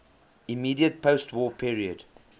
immediate postwar period